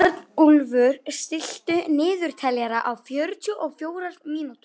Arnúlfur, stilltu niðurteljara á fjörutíu og fjórar mínútur.